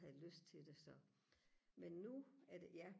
havde lyst til det så men nu er det ja